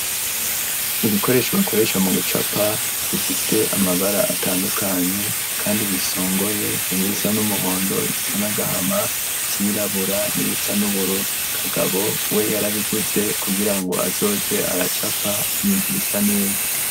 Ibikoresho, bakoresha mu gucapa, bifise amabara, atandukanye, kandi bisongoye; harimwo ibisa n'umuhondo, ibisa n'agahama, ivyirabura, n'ibisa n'uburu; Kagabo we yarabiguze, kugira ngo, azoze aracapa, ibintu bisa neza.